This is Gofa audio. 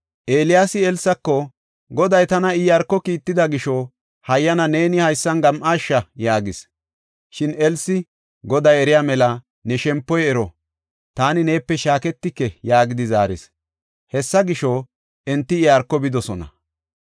Eeliyaasi Elsako, “Goday tana Iyaarko kiitida gisho, hayyana neeni haysan gam7aasha” yaagis. Shin Elsi, “Goday eriya mela, ne shempoy ero! Taani neepe shaaketike” yaagidi zaaris. Hessa gisho, enti Iyaarko bidosona.